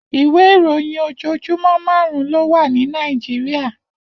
Iwé iróyin ójójúmò màrún lówà ni Nàijiriá